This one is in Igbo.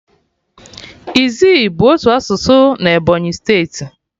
Izzi bụ otu asụsụ na Ebonyi steeti